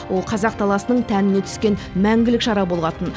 ол қазақ даласының тәніне түскен мәңгілік жара болатын